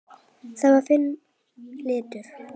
Það var þinn litur.